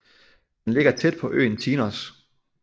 Den ligger tæt på øen Tinos